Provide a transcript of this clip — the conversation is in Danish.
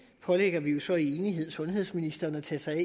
pålægger vi jo så i enighed sundhedsministeren at tage sig